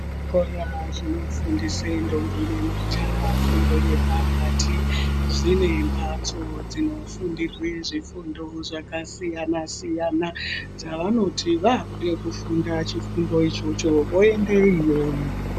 Zvikora zvinofundisa ndombi nemajaha fundo zvine mbatso dzinofundirwa zvifundo zvakasiyana siyana dzavanoti vakuda kufunda chifundo ichocho voenda iyoyo.